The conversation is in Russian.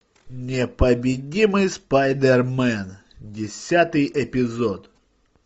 непобедимый спайдермен десятый эпизод